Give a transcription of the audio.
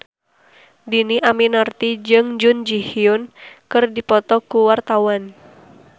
Dhini Aminarti jeung Jun Ji Hyun keur dipoto ku wartawan